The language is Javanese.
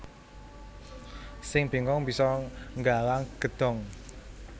Sing bengkong bisa nggalang gedhong